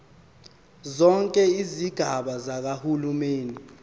zonke izigaba zikahulumeni